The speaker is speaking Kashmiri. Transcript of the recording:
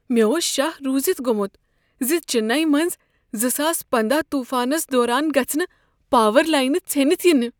مےٚ اوس شہہ روزِتھ گوٚمت ز چننے منٛز زٕساس پنٛداہ طوٗفانس دوران گژھٕ نہٕ پاور لاینہ ژھیٚنتھ ینہَ۔